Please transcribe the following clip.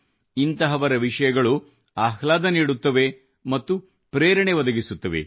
ಇಂಥವರ ವಿಷಯಗಳು ಆಹ್ಲಾದವನ್ನು ನೀಡುತ್ತವೆ ಮತ್ತು ಪ್ರೇರಣೆ ಒದಗಿಸುತ್ತವೆ